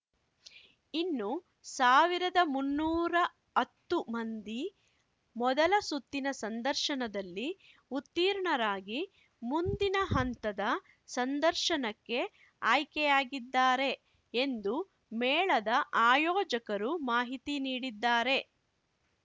ಇನ್ನು ಸಾವಿರದ ಮುನ್ನೂರು ಹತ್ತು ಮಂದಿ ಮೊದಲ ಸುತ್ತಿನ ಸಂದರ್ಶನದಲ್ಲಿ ಉತ್ತೀರ್ಣರಾಗಿ ಮುಂದಿನ ಹಂತದ ಸಂದರ್ಶನಕ್ಕೆ ಆಯ್ಕೆಯಾಗಿದ್ದಾರೆ ಎಂದು ಮೇಳದ ಆಯೋಜಕರು ಮಾಹಿತಿ ನೀಡಿದ್ದಾರೆ